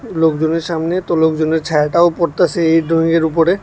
লোকজনের সামনে তো লোকজনের ছায়াটাও পরতাসে এই ড্রইংয়ের উপরে।